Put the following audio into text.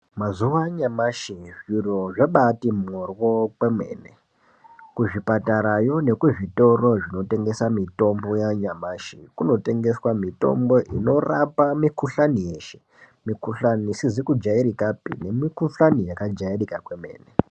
Mazuwa anyamashi zviro zvabaati mhoryo kwemene. Kuzvipatarayo nekuzvitoro zvinotengese mitombo yanyamashi, kunotengeswe mitombo inorapa mikhuhlani yeshe. Mikhuhlani isizi kujairikapi nemikhuhlani yakajairika kwemene.